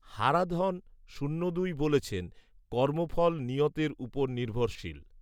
হারাধণ শূন্য দুই বলেছেন, কর্মফল নিয়তের উপর নির্ভরশীল